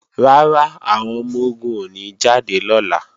Rárá, àwọn ọmọ-ogun ò ní jáde lọ́la